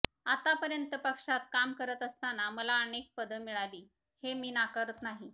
आतापर्यंत पक्षात काम करत असताना मला अनेक पदं मिळाली हे मी नाकारत नाही